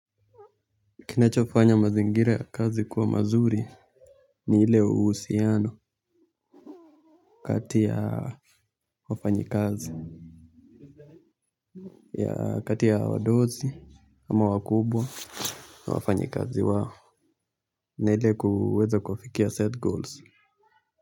Kinachofanya mazingira ya kazi kuwa mazuri ni ile uhusiano kati ya wafanyi kazi ya kati ya wadosi ama wakubwa na wafanyi kazi wao na ile kuweza kufikia set goals.